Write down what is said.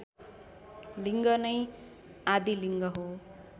लिड्ग नै आदिलिङ्ग हो